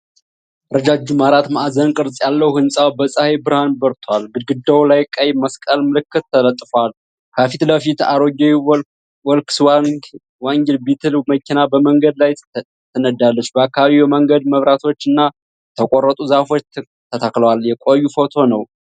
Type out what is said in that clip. ረጃጅም አራት ማዕዘን ቅርጽ ያለው ህንፃ በፀሐይ ብርሃን በርቷል። ግድግዳው ላይ ቀይ መስቀል ምልክት ተለጥፏል። ከፊት ለፊት አሮጌ ቮልክስዋገን ቢትል መኪና በመንገድ ላይ ትነዳለች። በአካባቢው የመንገድ መብራቶች እና የተቆረጡ ዛፎች ተክለዋል። የቆየ ፎቶ ነው።